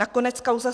Nakonec kauza